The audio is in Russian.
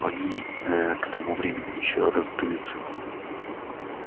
они ээ к тому времени ещё раздуются